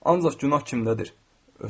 Ancaq günah kimdədir?